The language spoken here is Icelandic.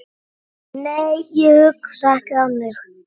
Nei, ég hugsa ekki þannig.